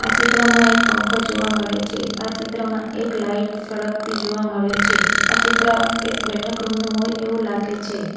આ ચિત્રમાં એક પંખો જોવા મળે છે આ ચિત્રમાં એક લાઇટ સળગતી જોવા મળે છે આ ચિત્ર એક બેઠક રૂમ નું હોય એવું લાગે છે.